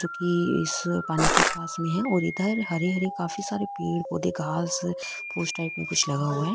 जो की इस पानी के पास में है और इधर हरे हरे काफी सारे पेड़ पौधे घास फुस टाईप में कुछ लगा हुआ है।